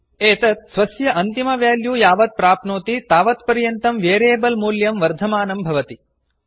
एतत् स्वस्य अन्तिम वेल्यू यावत् प्राप्नोति तावत्पर्यन्तं वेरियेबल् मूल्यं वर्धमानं भवति